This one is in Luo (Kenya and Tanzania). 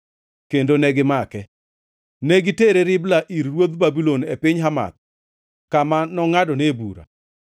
kendo negimake. Ne gitere Ribla ir ruodh Babulon e piny Hamath, kama nongʼadone bura.